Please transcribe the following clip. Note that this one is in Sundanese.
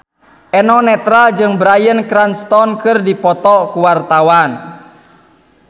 Eno Netral jeung Bryan Cranston keur dipoto ku wartawan